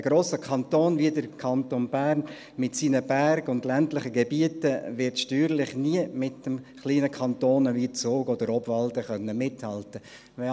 Ein grosser Kanton wie der Kanton Bern mit seinen Bergen und ländlichen Gebieten wird steuerlich nie mit den kleinen Kantonen wie Zug oder Obwalden mithalten können.